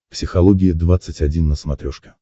психология двадцать один на смотрешке